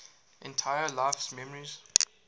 entire life's memories